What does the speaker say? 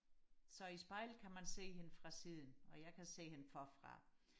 så spejlet kan man se hende fra siden og jeg kan se hende forfra